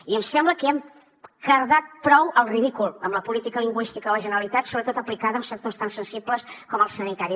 i em sembla que ja hem cardat prou el ridícul amb la política lingüística de la generalitat sobretot aplicada en sectors tan sensibles com el sanitari